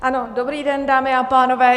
Ano, dobrý den, dámy a pánové.